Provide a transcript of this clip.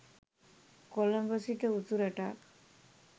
කොළඹ සිට උතුරටත්